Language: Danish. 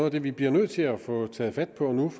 af det vi bliver nødt til at få taget fat på nu